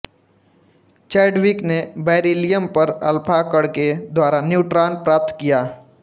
Chadwick ने beryllium पर alpha कण के द्वारा न्यूट्रॉन प्राप्त किया